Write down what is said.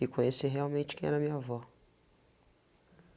E conhecer realmente quem era minha avó.